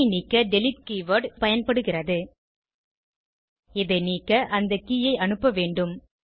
K ஐ நீக்க delete keyword பயன்படுகிறது இதை நீக்க அந்த கே ஐ அனுப்ப வேண்டும்